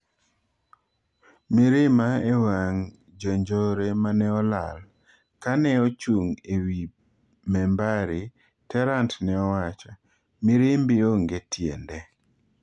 "Mirima ewang the njore maneolaal"Kane ochung ewii membari, Terrant neowacho:"mirimbi onge tiende."